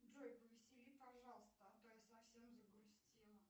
джой повесели пожалуйста а то я совсем загрустила